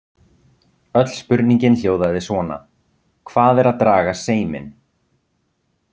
Öll spurningin hljóðaði svona: Hvað er að draga seiminn?